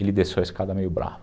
Ele desceu a escada meio bravo.